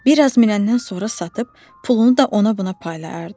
Bir az minəndən sonra satıb pulunu da ona-buna paylayardı.